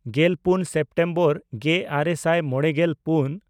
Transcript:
ᱜᱮᱞᱯᱩᱱ ᱥᱮᱯᱴᱮᱢᱵᱚᱨ ᱜᱮᱼᱟᱨᱮ ᱥᱟᱭ ᱢᱚᱬᱮᱜᱮᱞ ᱯᱩᱱ